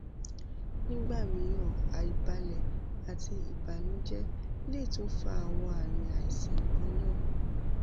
nigba miiran aibalẹ ati ibanujẹ le tun fa awọn aami aisan kanna